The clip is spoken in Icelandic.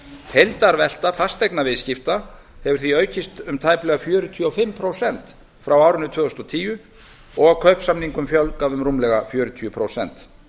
heildarvelta fasteignaviðskipta hefur því aukist um tæplega fjörutíu og fimm prósent frá árinu tvö þúsund og tíu og kaupsamningum fjölgað um rúmlega fjörutíu prósent